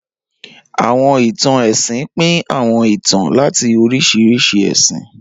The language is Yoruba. Awọn itan ẹsin pin awọn itan lati oriṣiriṣi ẹsin.